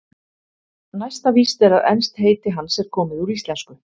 Næsta víst er að enskt heiti hans er komið úr íslensku.